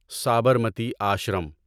Sabarmati Ashram